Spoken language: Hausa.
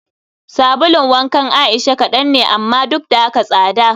Sabulun wankan Aisha kadan ne amma duk da haka tsada